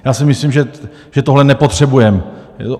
Já si myslím, že tohle nepotřebujeme.